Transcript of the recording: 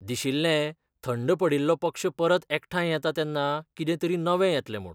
दिशिल्लें थंड पडिल्लो पक्ष परत एकठांय येता तेन्ना कितें तरी नवें येतलें म्हूण...